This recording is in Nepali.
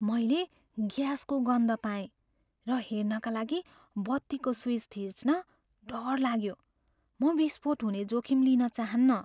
मैले ग्यासको गन्ध पाएँ र हेर्नका लागि बत्तीको स्विच थिच्न डर लाग्यो। म विस्फोट हुने जोखिम लिन चाहन्न।